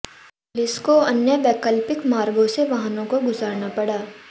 police को अन्य वैकल्पिक मार्गों से वाहनों को गुजारना पड़ा